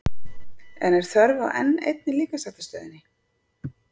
En er þörf á enn einni líkamsræktarstöðinni?